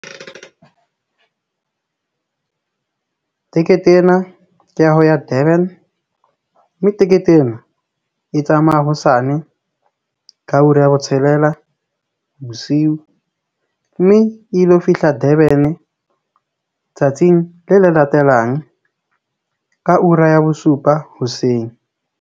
Tekete ena ke ya ho ya Durban. Mme tekete ena e tsamaya hosane ka hora ya botshelela fela bosiu mme ilo fihla Durban-e tsatsing le le latelang ka ura ya bosupa hoseng.